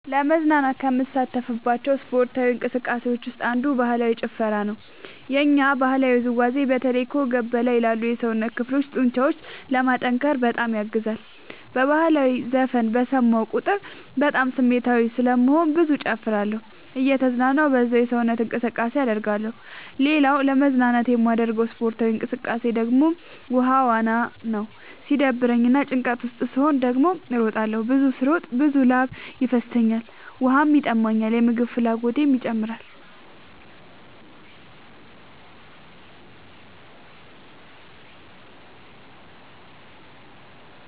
ለመዝናናት ከምሳተፍባቸው ስፓርታዊ እንቅስቃሴዎች ውስጥ አንዱ ባህላዊ ጭፈራ ነው። የኛ ባህላዊ ውዝዋዜ በተለይ ከወገብ በላይ ላሉ የሰውነት ክፍሎ ጡንቻዎችን ለማጠንከር በጣም ያግዛል። በህላዊ ዘፈን በሰማሁ ቁጥር በጣም ስሜታዊ ስለምሆን ብዙ እጨፍራለሁ እየተዝናናሁ በዛውም ሰውነት እንቅስቃሴ አደርጋለሁ። ሌላኛው ለመዝናናት የማደርገው ስፖርታዊ እንቅቃሴ ደግሞ ውሃ ዋና ነው። ሲደብረኝ እና ጭንቀት ውስጥ ስሆን ደግሞ እሮጣለሁ። ብዙ ስለምሮጥ ብዙ ላብ ይፈሰኛል ውሃም ይጠማኛል የምግብ ፍላጎቴም ይጨምራል።